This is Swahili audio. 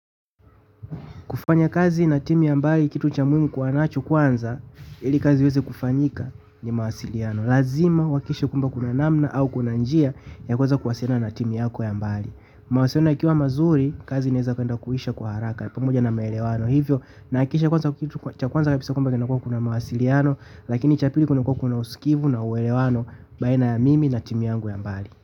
Kufanya kazi na timu ya mbali kitu cha muhimu kuwa nacho kwanza ili kazi iweze kufanyika ni mawasiliano. Lazima wakikishe kwamba kuna namna au kuna njia ya kuweza kuwasiliana na timu yako ya mbali. Mawasiliano yakiwa mazuri kazi inaweza kwenda kuisha kwa haraka pamoja na maelewano. Hivyo nakikisha kwanza kitu cha kwanza kabisa kwamba kuna mawasiliano lakini cha pili kuna kukuwa usikivu na uelewano baina ya mimi na timu yangu ya mbali.